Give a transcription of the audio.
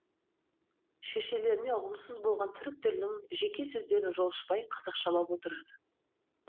шешелеріне ұғымсыз болған түрік тілінің жеке сөздерін жолшыбай қазақшалап отырады